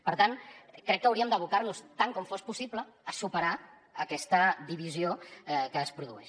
per tant crec que hauríem d’abocar nos tant com fos possible a superar aquesta divisió que es produeix